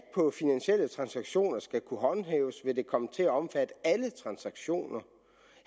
på finansielle transaktioner skal kunne håndhæves vil det komme til at omfatte alle transaktioner